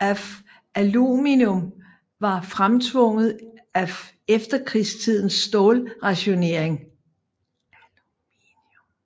af aluminium var fremtvunget af efterkrigstidens stålrationering